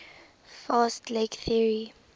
fast leg theory